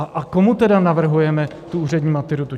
A komu tedy navrhujeme tu úřední maturitu?